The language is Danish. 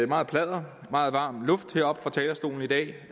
meget pladder meget varm luft heroppe fra talerstolen i dag